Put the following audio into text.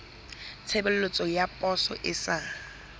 tshebeletso ya poso e sa